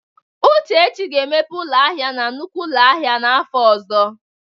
Uchechi ga-emepe ụlọ ahịa na nnukwu ụlọ ahịa n'afọ ọzọ.